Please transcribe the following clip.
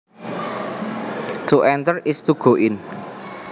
To enter is to go in